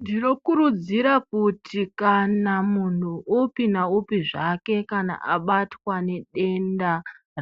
Ndinokurudzira kuti kana munhu upi naupi zvake kana abatwa nedenda